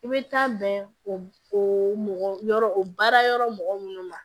I bɛ taa bɛn o o mɔgɔ yɔrɔ o baara yɔrɔ mɔgɔ minnu ma